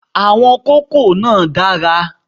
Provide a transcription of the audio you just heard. Àwọn kókò náà dára